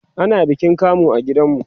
ana bikin kamu a gidan mu